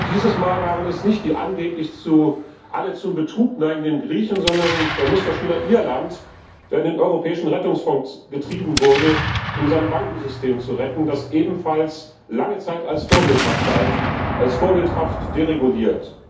Dieses Mal waren es nicht die angeblich alle zum Betrug neigenden Griechen, sondern es war der Musterschüler Irland, der in den europäischen Rettungsfonds getrieben wurde, um sein Bankensystem zu retten, das ebenfalls lange Zeit als vorbildhaft galt, als vorbildhaft dereguliert.